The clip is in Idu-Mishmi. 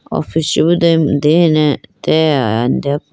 office chi boo dene atage ayane deyapo.